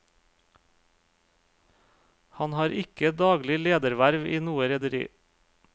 Han har ikke daglig lederverv i noe rederi.